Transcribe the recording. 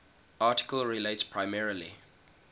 article relates primarily